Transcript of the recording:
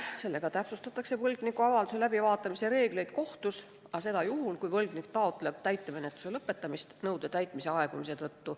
Sellega täpsustatakse võlgniku avalduse kohtus läbivaatamise reegleid, seda juhul, kui võlgnik taotleb täitemenetluse lõpetamist nõude täitmise aegumise tõttu.